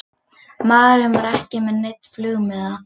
Maðurinn var ekki með neinn flugmiða